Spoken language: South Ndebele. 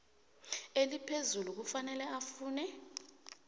eliphezulu kufanele afune